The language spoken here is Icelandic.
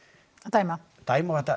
dæma dæma og þetta